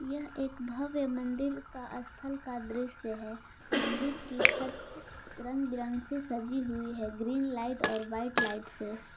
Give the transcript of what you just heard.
यह एक भव्य मंदिर का स्थल का दृश्य है मंदिर की छत रंग बिरंग से सजी हुई है ग्रीन लाइट और व्हाइट लाइट से।